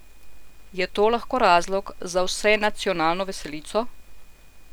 Je to lahko razlog za vsenacionalno veselico?